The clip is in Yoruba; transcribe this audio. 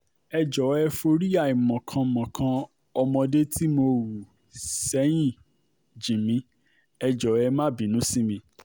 ẹ jọ̀ọ́ ẹ forí àìmọ̀kan mọ́kàn ọmọdé tí mo hù sẹ́yìn jì mí ẹ jọ̀ọ́ ẹ má bínú sí mi